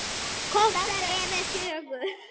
Korter yfir fjögur.